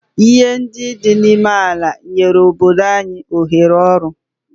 Ihe ndị dị n'ime ala nyere obodo anyị ohere ọrụ?